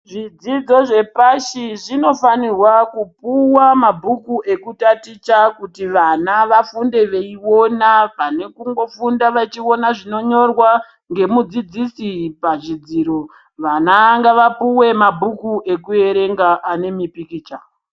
Zvidzidzo zvepashi zvinofanirwa kupuwa mabhuku ekutaticha kuti vana vafunde veiona pane kungofunda vechiona zvinonyorwa ngemudzidzisi pachidziro vana ngavapuwe mabhuku ekuerenga anemapikicha.